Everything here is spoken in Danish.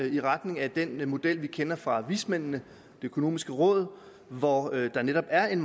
i retning af den model vi kender fra vismændene det økonomiske råd hvor der netop er en